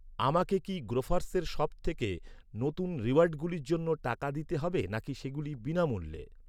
আমাকে কি গ্রোফার্সের সবথেকে নতুন রিওয়ার্ডগুলির জন্য টাকা দিতে হবে নাকি সেগুলি বিনামূল্যে?